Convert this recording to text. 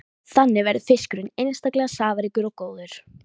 Þannig verður fiskurinn einstaklega safaríkur og góður.